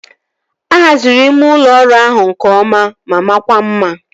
A haziri ime ụlọ ọrụ ahụ nke ọma ma makwa mma